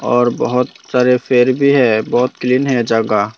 और बहुत सारे पेड़ भी हैं बहुत क्लीन है जगह।